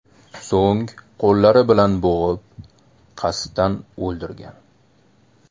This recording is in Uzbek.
So‘ng qo‘llari bilan bo‘g‘ib, qasddan o‘ldirgan.